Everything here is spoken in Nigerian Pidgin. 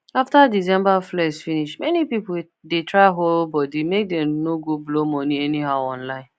after december flex finish many people dey try hold body make dem no go blow money anyhow online